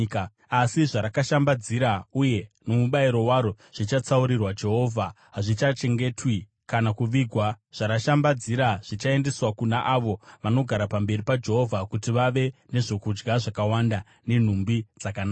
Asi zvarakashambadzira uye nomubayiro waro zvichatsaurirwa Jehovha; hazvingachengetwi kana kuvigwa. Zvarakashambadzira zvichaendeswa kuna avo vanogara pamberi paJehovha, kuti vave nezvokudya zvakawanda nenhumbi dzakanaka.